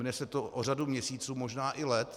Mine se to o řadu měsíců, možná i let.